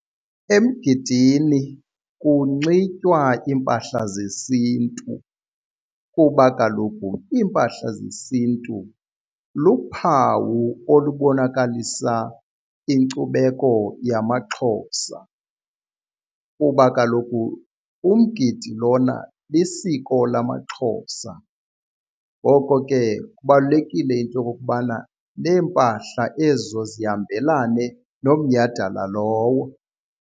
Emgidini kunxitywa iimpahla zesintu kuba kaloku iimpahla zesintu luphawu olubonakalisa inkcubeko yamaXhosa. Kuba kaloku umgidi lona lisiko lamaXhosa ngoko ke kubalulekile into okokubana neempahla ezo zihambelane nomnyhadala lowo.